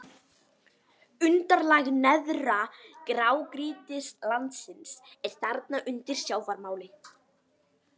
Undirlag neðra grágrýtislagsins er þarna undir sjávarmáli.